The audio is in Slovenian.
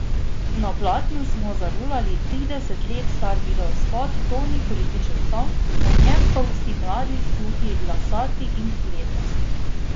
Na platnu smo zarolali trideset let star videospot To ni političen song, na njem pa vsi mladi, suhi, lasati in ledrasti.